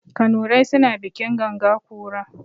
Kanurai suna bikin ganga kura.